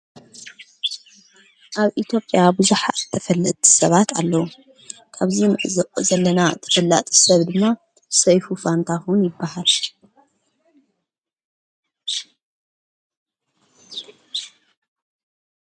ኣብ ኢቲጵያ ብዙኃ ተፈልእቲ ሰባት ኣለዉ ካብዙ ምዕዝኦ ዘለና ተፈላጥ ሰብ ድማ ሰይፉ ፋንታኹን ይበሃል።